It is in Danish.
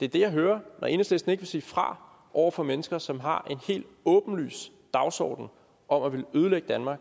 det er det jeg hører når enhedslisten ikke vil sige fra over for mennesker som har en helt åbenlys dagsorden om at ville ødelægge danmark